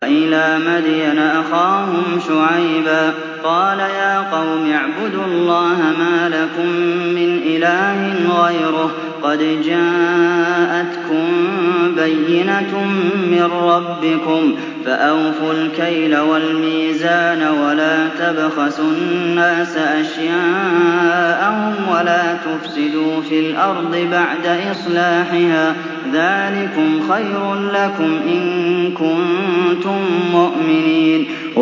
وَإِلَىٰ مَدْيَنَ أَخَاهُمْ شُعَيْبًا ۗ قَالَ يَا قَوْمِ اعْبُدُوا اللَّهَ مَا لَكُم مِّنْ إِلَٰهٍ غَيْرُهُ ۖ قَدْ جَاءَتْكُم بَيِّنَةٌ مِّن رَّبِّكُمْ ۖ فَأَوْفُوا الْكَيْلَ وَالْمِيزَانَ وَلَا تَبْخَسُوا النَّاسَ أَشْيَاءَهُمْ وَلَا تُفْسِدُوا فِي الْأَرْضِ بَعْدَ إِصْلَاحِهَا ۚ ذَٰلِكُمْ خَيْرٌ لَّكُمْ إِن كُنتُم مُّؤْمِنِينَ